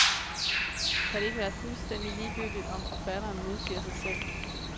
Kan det ikke være fuldstændig ligegyldigt om forfatteren modsiger sig selv.